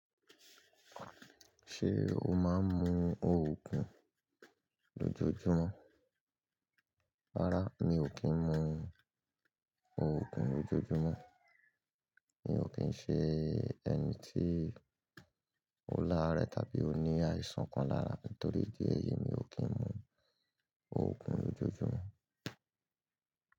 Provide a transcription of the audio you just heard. Ṣé o máa ń mu òògùn lójoojúmọ́? Rárá mi ò kí ń mu òògùn lójoojúmọ́. Mi ò kín ń ṣe ẹni tí ó láàárẹ tàbí ó ní àìsàn kan lára mi torí díẹ̀ yìí mi ò kí ń mu òògùn lójoojúmọ́